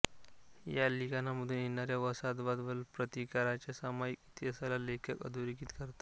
या लिखाणामधून येणाऱ्या वसाहतवाद व प्रतिकाराच्या सामायिक इतिहासाला लेखक अधोरेखित करतात